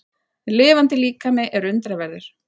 Lifandi líkami er undraverður.